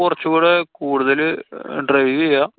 കൊറച്ചൂടെ കൂടുതല് drive ചെയ്യാം.